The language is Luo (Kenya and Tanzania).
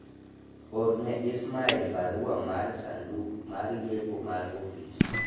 orne Ismael barua mar sanduk mar yepo mar ofis